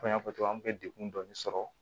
Komi n y'a fɔ cogo min an bɛ degkun dɔɔni sɔrɔ